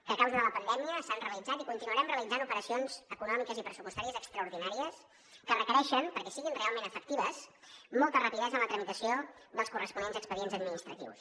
que a causa de la pandèmia s’han realitzat i continuarem realitzant operacions econòmiques i pressupostàries extraordinàries que requereixen perquè siguin realment efectives molta rapidesa en la tramitació dels corresponents expedients administratius